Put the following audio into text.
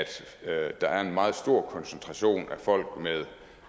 der er en meget stor koncentration af folk med